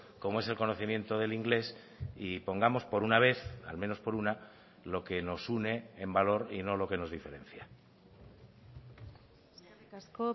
como es el conocimiento del inglés y pongamos por una vez al menos por una lo que nos une en valor y no lo que nos diferencia eskerrik asko